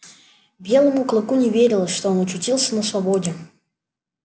белому клыку не верилось что он очутился на свободе